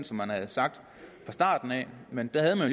som man havde sagt fra starten af men der havde man